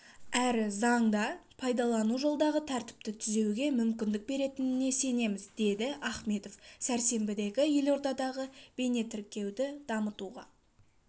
әрі заңда пайдалану жолдағы тәртіпті түзеуге мүмкіндік беретініне сенеміз деді ахметов сәрсенбідегі елордадағы бейнетіркеуді дамытуға